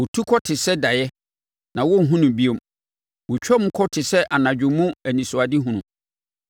Ɔtu kɔ te sɛ daeɛ, na wɔrenhunu no bio. Wɔtwam kɔ te sɛ anadwo mu anisoadehunu.